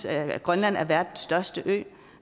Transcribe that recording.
at grønland er verdens største ø